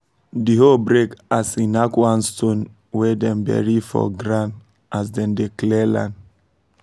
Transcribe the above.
the hoe break as e knack one stone wey dem bury for ground as dem dey clear land